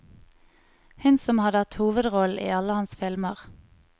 Hun som har hatt hovedrollen i alle hans filmer.